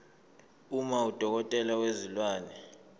uma udokotela wezilwane